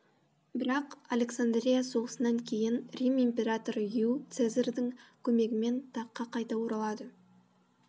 бірақ александрия соғысынан кейін рим императоры ю цезарьдің көмегімен таққа қайта оралады